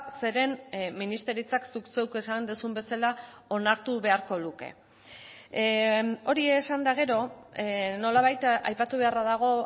zeren ministeritzak zuk zeuk esan duzun bezala onartu beharko luke hori esan eta gero nolabait aipatu beharra dago